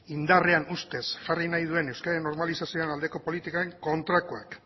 indarrean ustez jarri nahi duen euskeraren normalizazioaren aldeko politikaren kontrakoak